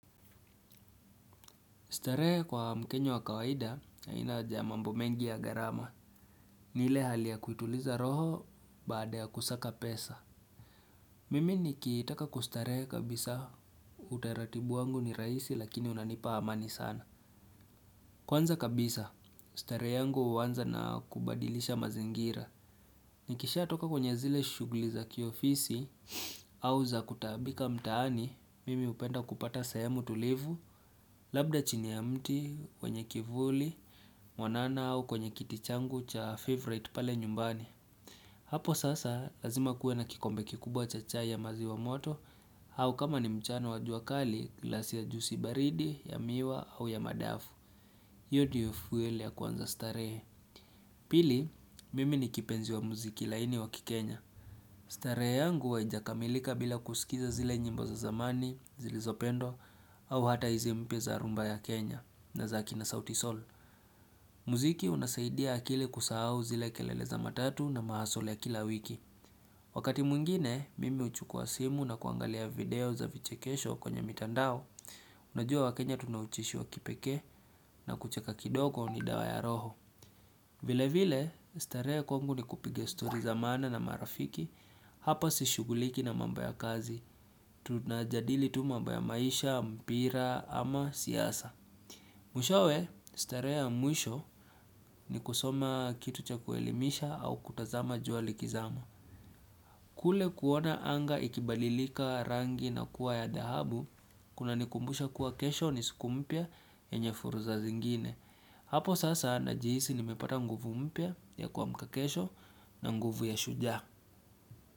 Starehe kwa mkenya wa kawaida, haina mambo mengi ya gharama. Ni ile hali ya kuituliza roho baada ya kusaka pesa. Mimi nikitaka kustarehe kabisa, utaratibu wangu ni rahisi lakini unanipa amani sana. Kwanza kabisa, starehe yangu huanza na kubadilisha mazingira. Nikishatoka kwenye zile shughuli za kiofisi, au za kutaabika mtaani, Mimi hupenda kupata sehemu tulivu, labda chini ya mti, wenye kivuli, mwanana au kwenye kiti changu cha favourite pale nyumbani. Hapo sasa, lazima kuwe na kikombe kikubwa cha chai ya maziwa moto, au kama ni mchana wa jua kali, glasi ya juisi baridi, ya miwa, au ya madafu. Hiyo ndiyo fuwele ya kuanza starehe. Pili, mimi ni kipenzi wa muziki laini wa kikenya. Starehe yangu huwa hainakamilika bila kusikiza zile nyimbo za zamani, zilizopendwa au hata hizi mpya za rhumba ya Kenya, na za akina sauti Soul. Muziki unasaidia akili kusahau zile kelele za matatu na mahustle ya kila wiki. Wakati mwngine, mimi huchukua simu nakuangalia video za vichekesho kwenye mitandao, unajua wakenya tuna ucheshi wa kipekee na kucheka kidogo ni dawa ya roho. Vile vile, starehe kwangu ni kupiga story za maana na marafiki, hapa sishughuliki na mambo ya kazi, tunajadili tu mambo ya maisha, mpira ama siasa. Mwishowe, starehe ya mwisho ni kusoma kitu cha kuelimisha au kutazama jua likizama. Kule kuona anga ikibalilika rangi na kuwa ya dhahabu, kuna nikumbusha kuwa kesho ni siku mpya yenye fursa zingine. Hapo sasa najihisi nimepata nguvu mpya ya kuamka kesho na nguvu ya shujaa.